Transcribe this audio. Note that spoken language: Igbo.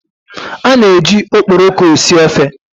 A na-eji ukporoko esi ofe.